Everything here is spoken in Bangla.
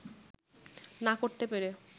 না করতে পেরে